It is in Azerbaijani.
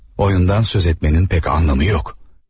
Oyundan söz açmağın heç bir mənası yoxdur.